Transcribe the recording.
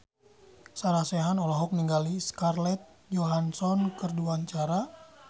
Sarah Sechan olohok ningali Scarlett Johansson keur diwawancara